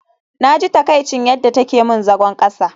Naji takaicin yadda take min zagon kasa